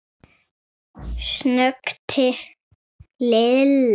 snökti Lilla.